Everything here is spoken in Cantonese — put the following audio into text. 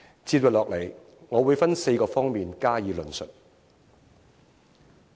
接下來，我會分4方面加以論述。